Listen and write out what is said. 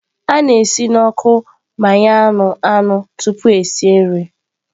A na-esi n'ọkụ gbanye anụ anụ tupu esi nri.